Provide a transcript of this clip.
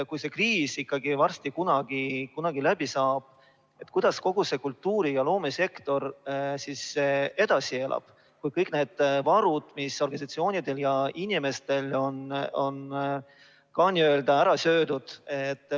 Kui see kriis ikkagi kunagi läbi saab, kuidas siis kogu see kultuuri‑ ja loomesektor edasi elab, kui kõik varud, mis organisatsioonidel ja inimestel olid, on ka n‑ö ära söödud?